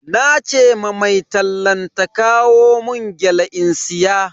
Nace ma mai tallan ta kawo mun gyale in siya.